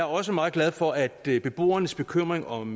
også meget glad for at beboernes bekymring om